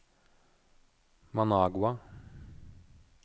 Managua